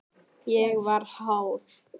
Ég var háð.